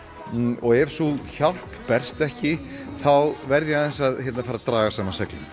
og ef sú hjálp berst ekki þá verð ég að draga saman seglin